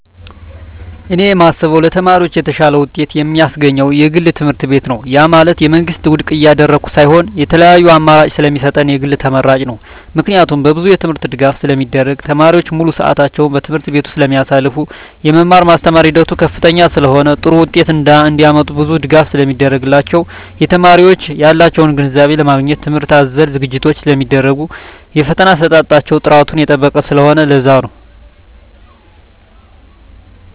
እኔ የማስበው ለተማሪዎች የተሻለ ውጤት የማስገኝ የግል ትምህርትቤት ነው ያ ማለት የመንግስትን ውድቅ እያደረኩ ሳይሆን የተለያዪ አማራጭ ስለሚሰጠን የግል ተመራጭ ነው። ምክንያቱም በብዙ የትምህርት ድጋፍ ስለሚደረግ , ተማሪዎች ሙሉ ስዕታቸውን በትምህርት ቤቱ ስለማሳልፋ , የመማር ማስተማር ሂደቱ ከፍተኛ ስለሆነ ጥሩ ውጤት እንዳመጡ ብዙ ድጋፍ ስለሚደረግላቸው , የተማሪዎች ያላቸውን ግንዛቤ ለማግኘት ትምህርት አዘል ዝግጅቶች ስለሚደረጉ የፈተና አሰጣጣቸው ጥራቱን የጠበቀ ስለሆነ ለዛ ነው